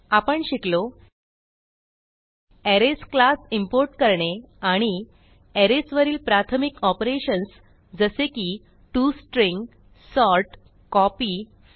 आपण शिकलो arrays class import करणे आणि अरेज वरील प्राथमिक ऑपरेशन्स जसे की to string sort copy fill